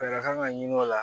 Fɛɛrɛ kan ka ɲini o la